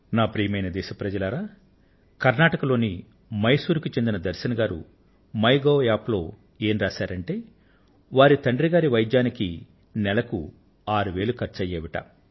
ప్రియమైన నా దేశ వాసులారా కర్ణాటక లోని మైసూర్ కు చెందిన దర్శన్ గారు మై గోవ్ యాప్ లో ఏం వ్రాశారంటే వారి తండ్రి గారి వైద్యానికి నెలకు ఆరు వేల రూపాయలు ఖర్చు అయ్యేవట